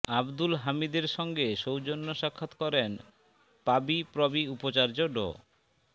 আবদুল হামিদের সঙ্গে সৌজন্য সাক্ষাৎ করেন পাবিপ্রবি উপাচার্য ড